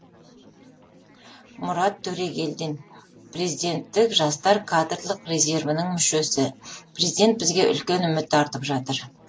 мұрат төрегелдин президенттік жастар кадрлық резервінің мүшесі президент бізге үлкен үміт артып жатыр